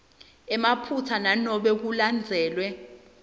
emaphutsa nanobe kulandzelwe